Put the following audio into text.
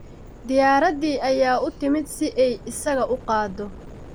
Diyaaraddii ayaa u timid si ay isaga qaado